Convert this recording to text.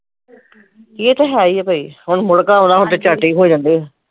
ਇਹ ਤੇ ਹੈ ਈ ਆ ਬਈ ਹੁਣ ਮੁੜਕਾ ਆਉਣਾ ਹੁਣ ਤੇ ਝੱਟ ਹੀ ਹੋ ਜਾਂਦੇ